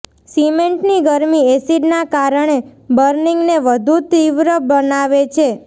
સિમેન્ટની ગરમી એસીડના કારણે બર્નિંગને વધુ તીવ્ર બનાવે છે